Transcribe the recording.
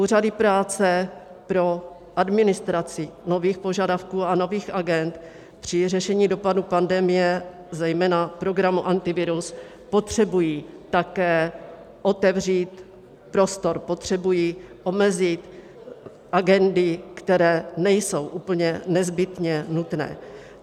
Úřady práce pro administraci nových požadavků a nových agend při řešení dopadů pandemie zejména programu Antivirus potřebují také otevřít prostor, potřebují omezit agendy, které nejsou úplně nezbytně nutné.